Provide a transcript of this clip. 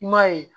I m'a ye